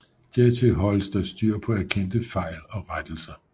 Dertil holdes der styr på erkendte fejl og rettelser